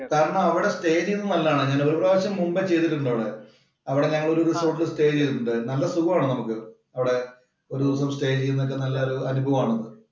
കാരണം അവിടെ സ്റ്റേ ചെയ്യുന്നത് നല്ലതാണ്. ഞാനൊരു പ്രാവശ്യം മുമ്പേ ചെയ്തിട്ടുണ്ട് അവിടെ. അവിടെ ഞങ്ങള് സ്റ്റേ ചെയ്തിട്ടുണ്ട് അവിടെ. നല്ല സുഖമാണ് നമുക്ക് അവിടെ ഒരു ദിവസം സ്റ്റേ ചെയ്യുന്നതൊക്കെ നല്ല അനുഭവമാണ്‌.